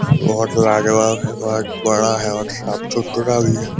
बहुत लाजवाब है बहुत बड़ा है और साफ सुथरा भी है ।